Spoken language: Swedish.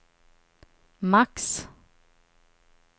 max